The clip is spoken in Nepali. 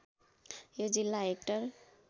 यो जिल्ला हेक्टर